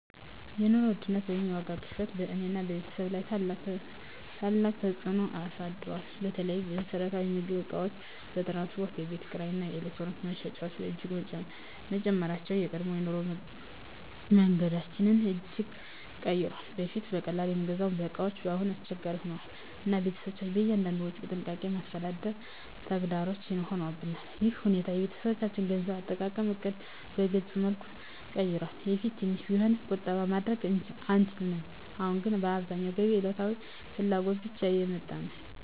የኑሮ ውድነት ወይም የዋጋ ግሽበት በእኔና በቤተሰቤ ላይ ታላቅ ተፅዕኖ አሳድሯል። በተለይ የመሰረታዊ ምግብ እቃዎች፣ የትራንስፖርት፣ የቤት ኪራይ እና የኤሌክትሪክ ወጪዎች በእጅጉ መጨመራቸው የቀድሞ የኑሮ መንገዳችንን እጅግ ቀይሯል። በፊት በቀላሉ የምንገዛቸው እቃዎች አሁን አስቸጋሪ ሆነዋል፣ እና ቤተሰባችን እያንዳንዱን ወጪ በጥንቃቄ ማስተዳደር ተግዳሮት ሆኖብናል። ይህ ሁኔታ የቤተሰባችንን የገንዘብ አጠቃቀም ዕቅድ በግልፅ መልኩ ቀይሯል። በፊት ትንሽ ቢሆንም ቁጠባ ማድረግ እንችል ነበር፣ አሁን ግን አብዛኛው ገቢ ለዕለታዊ ፍላጎት ብቻ እየወጣ ነው።